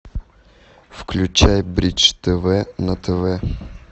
включай бридж тв на тв